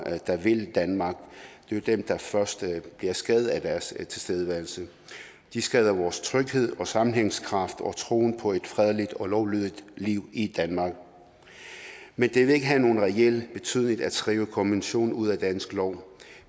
der vil danmark og det er dem der først bliver skadet af deres tilstedeværelse de skader vores tryghed og sammenhængskraft og troen på et fredeligt og lovlydigt liv i danmark men det vil ikke have nogen reel betydning at skrive konventionen ud af dansk lov